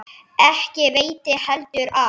Ekki veitti heldur af.